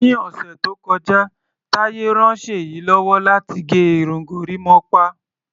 Ni ọ̀sẹ̀ tó kọjá, Taye ran Ṣèyí lọ́wọ́ láti gẹ irun gorímápá.